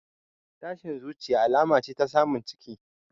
Tashin zuciya alama ce ta samun ciki